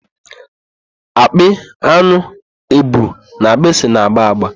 Akpị, an̄ụ, èbù na agbịsị na-agba agba.